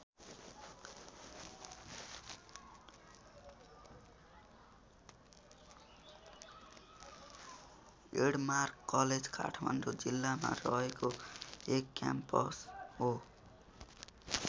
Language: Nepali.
एडमार्क कलेज काठमाडौँ जिल्लामा रहेको एक क्याम्पस हो।